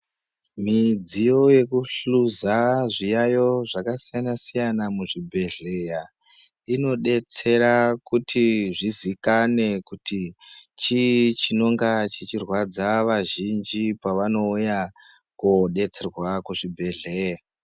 Midziyo yekuhluza zviyayo zvakasiyana-siyana muzvibhedhlera inodetsera kuti zvozikanwa kuti chii chinorwadza azhinji pavanouya kodetserwa kuzvibhedhlera.